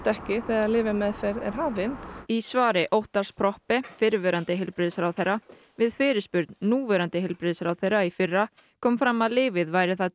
ekki þegar lyfjameðferð er hafin í svari Óttarrs Proppé fyrrverandi heilbrigðisráðherra við fyrirspurn núverandi heilbrigðisráðherra í fyrra kom fram að lyfið væri það